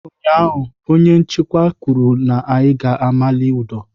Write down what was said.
Ụnyaahụ, onye nchịkwa kwuru na ị ga-amali ụdọ!